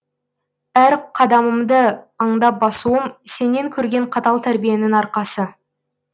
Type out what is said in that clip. әр қадамымды аңдап басуым сенен көрген қатал тәрбиенің арқасы